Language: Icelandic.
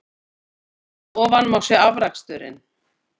Hér að ofan má sjá afraksturinn.